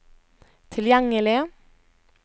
tilgjengelig